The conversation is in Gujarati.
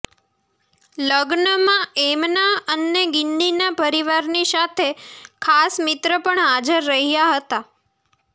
લગ્નમાં એમના અને ગિન્નીના પરિવારની સાથે ખાસ મિત્ર પણ હાજર રહ્યાં હતા